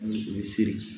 o bɛ siri